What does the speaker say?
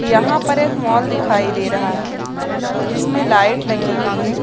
यहाँ पर एक मॉल दिखाई दे रहा है जिसमें लाइट लगी हुई है।